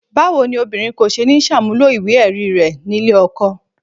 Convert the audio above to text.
Báwo ni obìnrin kò ṣe ní ṣàmúlò ìwé-ẹ̀rí rẹ̀ nílé ọkọ?